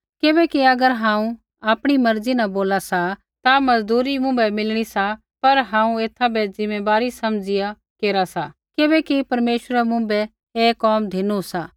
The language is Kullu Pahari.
किबैकि अगर हांऊँ आपणी मर्जी न बोला सा ता मजदूरी मुँभै मिलणी सा पर हांऊँ एथा बै ज़िम्मैबारी समझिया केरा सा किबैकि परमेश्वरै मुँभै ऐ कोम धिनु सा